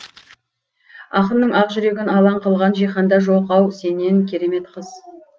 ақынның ақ жүрегін алаң қылған жиһанда жоқ ау сенен керемет қыз